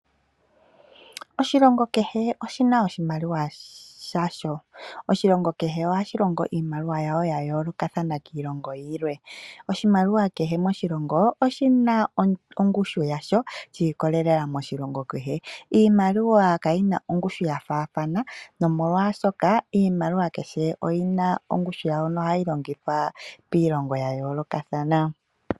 Oshilongo kehe oshina oshimaliwa yasho. Oshilongo kehe ohashi longo iimaliwa yashobya yoolokathana kiilongo yilwe. Oshimaliwa kehe moshilongo oshina ongushu yasho shi ikolelela moshilongo kehe. Iimaliwa kayina ongushu ya faathana nomolwashoka iimaliwa kehe oyina ongushu yawo, nohayi longithwa piilongo ya yoolokathana.